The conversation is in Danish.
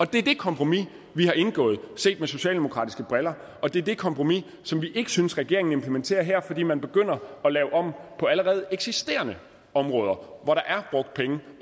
det er det kompromis vi har indgået set med socialdemokratiske briller og det er det kompromis som vi ikke synes regeringen implementerer her fordi man begynder at lave om på allerede eksisterende områder hvor der